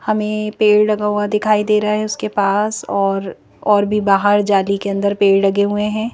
हमें पेड़ लगा हुआ दिखाई दे रहा है उसके पास और -और भी बाहर जाली के अंदर पेड़ लगे हुए हैं।